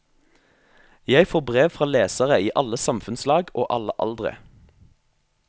Jeg får brev fra lesere i alle samfunnslag og alle aldre.